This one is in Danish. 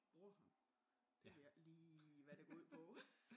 Warhammer det ved jeg ikke lige hvad det går ud på